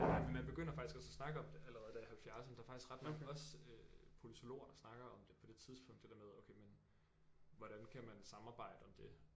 Men man begynder faktisk også at snakke om det allerede der i halvfjerdserne der faktisk ret mange også øh politologer der snakker om det på det tidspunkt det der med okay men hvordan kan man samarbejde om det